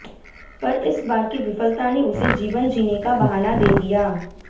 पर इस बार की विफलता ने उसे जीवन जीने का बहाना दे दिया